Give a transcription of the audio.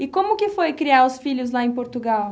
E como que foi criar os filhos lá em Portugal?